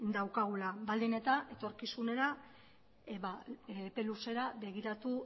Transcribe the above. daukagula baldin eta etorkizunera ba epe luzera begiratu